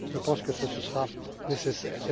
Je pense que ce sera nécessaire.